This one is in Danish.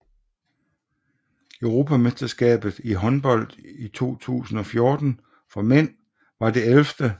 Europamesterskabet i håndbold 2014 for mænd var det 11